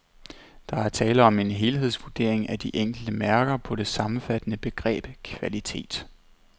Der er tale om en helhedsvurdering af de enkelte mærker på det sammenfattende begreb kvalitet.